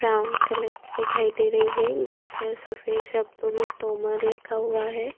Brown colour की दिखाई दे रही है जिस पर सफ़ेद शब्दों में तोमर लिखा हुआ है।